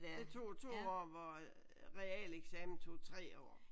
Det tog to år hvor realeksamen tog tre år